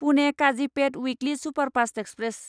Pune Kazipet weekly superfast express